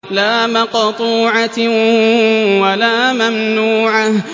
لَّا مَقْطُوعَةٍ وَلَا مَمْنُوعَةٍ